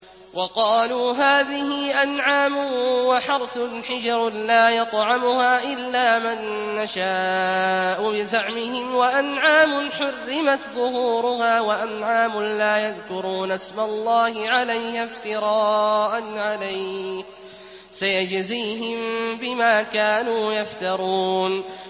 وَقَالُوا هَٰذِهِ أَنْعَامٌ وَحَرْثٌ حِجْرٌ لَّا يَطْعَمُهَا إِلَّا مَن نَّشَاءُ بِزَعْمِهِمْ وَأَنْعَامٌ حُرِّمَتْ ظُهُورُهَا وَأَنْعَامٌ لَّا يَذْكُرُونَ اسْمَ اللَّهِ عَلَيْهَا افْتِرَاءً عَلَيْهِ ۚ سَيَجْزِيهِم بِمَا كَانُوا يَفْتَرُونَ